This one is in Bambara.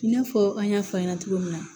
I n'a fɔ an y'a fɔ a ɲɛna cogo min na